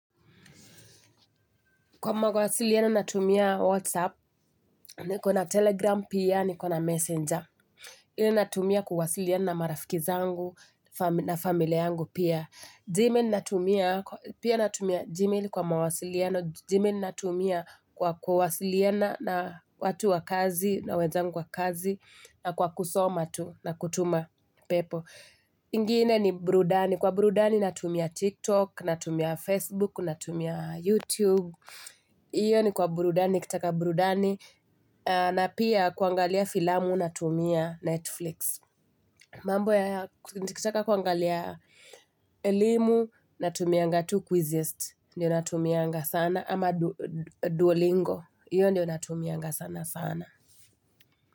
Kwa mawasiliano natumia Whatsapp, ni kona Telegram pia, ni kona Messenger. Ili natumia kuwasiliana na marafikizangu na familia yangu pia. Gmail natumia, pia natumia gmail kwa mawasilieno. Gmail natumia kwa kwasiliana na watu wakazi, na wenzangu wakazi, na kwa kusomatu na kutuma pepo. Ingine ni burudani. Kwa burudani natumia TikTok, natumia Facebook, natumia YouTube. Iyo ni kwa burudani, nikitaka burudani. Na pia kuangalia filamu na tumia Netflix. Mambo ya nikitaka kuangalia elimu na tumia ngatu quizist. Ndiyo natumianga sana. Ama duolingo, iyo ndiyo natumianga sana sana.